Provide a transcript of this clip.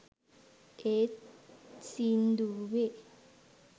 ඒත් සින්දුවේ